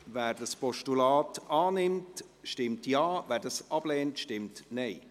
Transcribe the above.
Wer das Postulat annimmt, stimmt Ja, wer es ablehnt, stimmt Nein.